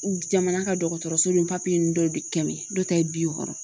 Jamana ka dɔgɔtɔrɔso ni dɔ de kɛ dɔ ta ye bi wɔɔrɔ ye